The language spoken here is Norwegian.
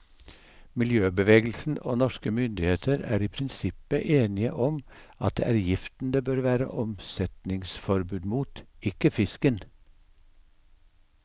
Miljøbevegelsen og norske myndigheter er i prinsippet enige om at det er giften det bør være omsetningsforbud mot, ikke fisken.